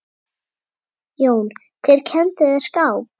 Jón: Hver kenndi þér skák?